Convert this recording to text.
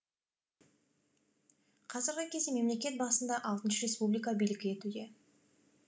қазіргі кезде мемлекет басында алтыншы республика билік етуде